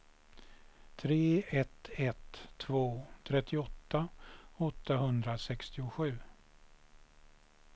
tre ett ett två trettioåtta åttahundrasextiosju